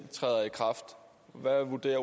det